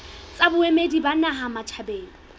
tsa boemedi ba naha matjhabeng